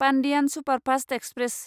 Pandian superfast express